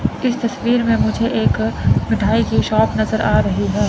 इस तस्वीर में मुझे एक मिठाई की शॉप नजर आ रही है।